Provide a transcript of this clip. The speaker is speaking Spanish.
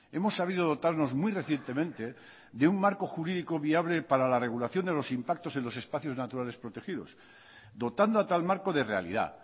hemos sabido dotarnos muy recientemente de un marco jurídico viable para la regulación de los impactos en los espacios naturales protegidos dotando a tal marco de realidad